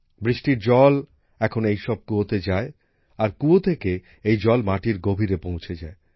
বৃষ্টির জল এখন এই সব কূয়োতে ঢোকে আর কূয়ো থেকে এই জল মাটির গভীরে পৌঁছে যায়